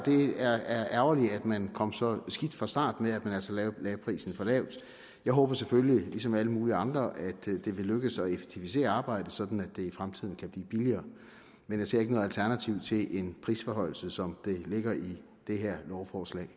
ærgerligt at man kom så skidt fra start med at man altså lagde prisen for lavt jeg håber selvfølgelig ligesom alle mulige andre at det vil lykkes at effektivisere arbejdet sådan at det i fremtiden kan blive billigere men jeg ser ikke noget alternativ til en prisforhøjelse som det ligger i det her lovforslag